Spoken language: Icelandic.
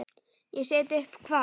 Ég set upp hvað?